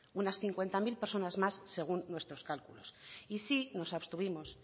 unas cincuenta mil personas más según nuestros cálculos y sí nos abstuvimos